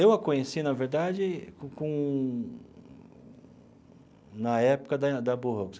Eu a conheci, na verdade com com, na época da da Burroughs.